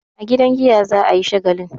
A gidan giya za a yi shagalin.